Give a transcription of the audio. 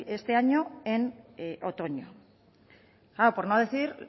este año en otoño por no decir